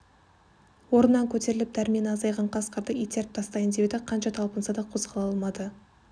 орнынан көтеріліп дәрмені азайған қасқырды итеріп тастайын деп еді қанша талпынса да қозғала алмады